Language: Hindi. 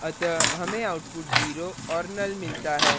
अतः हमें output 0 और null मिलता है